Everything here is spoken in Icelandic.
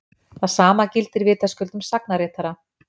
Það sama gildir vitaskuld um sagnaritara.